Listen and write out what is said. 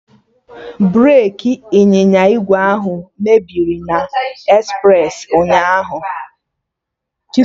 Breki ịnyịnya ígwè ahụ mebiri na espresi ụnyaahụ